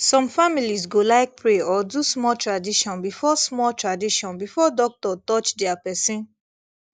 some families go like pray or do small tradition before small tradition before doctor touch their person